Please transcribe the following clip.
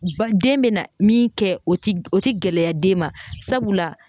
Ba den bɛ na min kɛ o tɛ gɛlɛya den ma sabula.